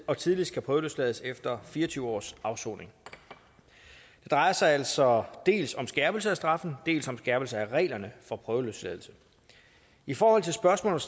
og tidligst kan prøveløslades efter fire og tyve års afsoning det drejer sig altså dels om skærpelse af straffen dels om skærpelse af reglerne for prøveløsladelse i forhold til spørgsmålet